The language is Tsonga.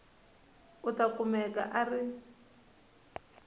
u ta kumeka a ri